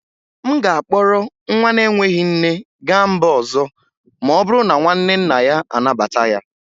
M ga-akpọrọ nwa na-enweghị nne gaa mba ọzọ ma ọ bụrụ na nwanne nna ya anabata ya